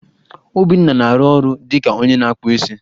Obinna na-arụ ọrụ dị ka onye na-akpụ isi.